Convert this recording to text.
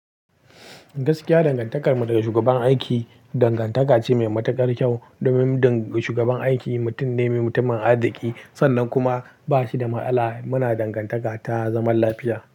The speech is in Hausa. Gaskiya dangantakarmu da shugaban aiki dangantaka ce mai matukar kyau. Domin shugaban aiki mutum ne mai mutumin arziki. Sannan kuma ba shi da masala muna dangantaka ta zaman lafiya.